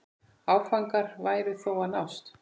Áfangar væru þó að nást.